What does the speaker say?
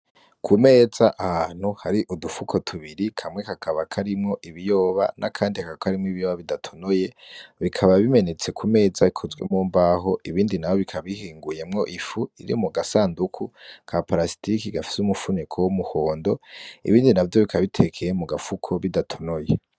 Ku meza ahantu hari udufuko tubiri kamwe kakaba karimwo ibiyoba n'akandi kakaba karimwo ibiyoba bidatonoye bikaba bimenetse ku meza ikozwe mu mbaho ibindi naho bikaba bihinguyemwo ifu iri mu gasanduku ka parasitike gafise umufuniko w'umuhondo ibindi navyo bikaba bitekeye mu gafuko bidatonoye.